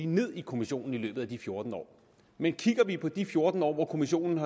ned i kommissionen i løbet af de fjorten år men kigger vi på de fjorten år hvor kommissionen